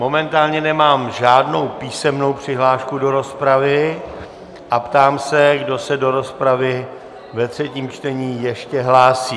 Momentálně nemám žádnou písemnou přihlášku do rozpravy a ptám se, kdo se do rozpravy ve třetím čtení ještě hlásí.